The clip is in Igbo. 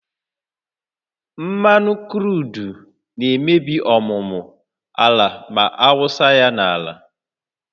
Mmanụ kruudu na-emebi ọmụmụ ala ma awụsa ya n'ala